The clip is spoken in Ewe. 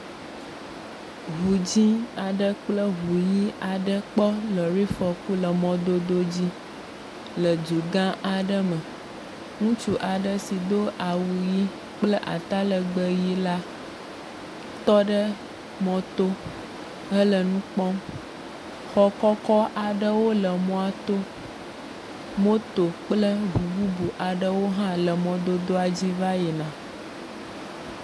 Ŋu dzɛ̃ aɖe kple ŋu ʋi aɖe kpɔ lɔri fɔku le mɔdodo dzi le dugã aɖe me. Ŋutsu aɖe si do awu ʋi kple atalɛgbɛ ʋi la tɔ ɖe mɔto hele nu kpɔm. Xɔ kɔkɔ aɖewo le mɔato. Moto kple ŋu bubu aɖewo hã le mɔdodoa dzi heyina